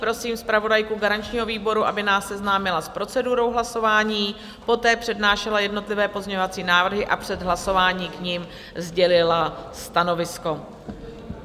Prosím zpravodajku garančního výboru, aby nás seznámila s procedurou hlasování, poté přednášela jednotlivé pozměňovací návrhy a před hlasováním k nim sdělila stanovisko.